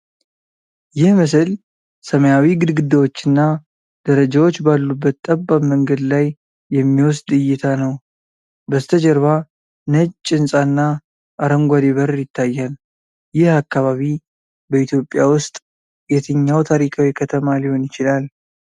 ይህ ምስል ሰማያዊ ግድግዳዎችና ደረጃዎች ባሉበት ጠባብ መንገድ ላይ የሚወስድ እይታ ነው። በስተጀርባ ነጭ ህንፃና አረንጓዴ በር ይታያል። ይህ አካባቢ በኢትዮጵያ ውስጥ የትኛው ታሪካዊ ከተማ ሊሆን ይችላል?